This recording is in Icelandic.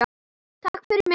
Takk fyrir mig!